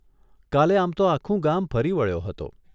કાલે આમ તો આખું ગામ ફરી વળ્યો હતો.